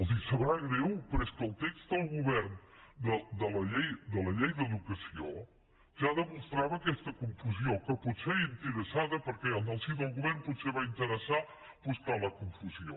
els deu saber greu però és que el text del govern de la llei d’educació ja demostrava aquesta confusió que potser era interessada perquè en el si del govern potser va interessar buscar la confusió